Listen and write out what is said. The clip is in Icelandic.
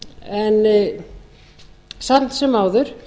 en samt sem áður